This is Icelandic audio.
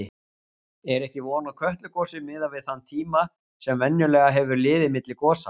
Er ekki von á Kötlugosi miðað við þann tíma sem venjulega hefur liðið milli gosa?